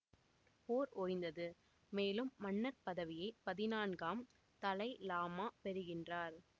போர் ஓய்ந்தது மேலும் மன்னர் பதவியை பதினான்காம் தலை லாமா பெறுகின்றார்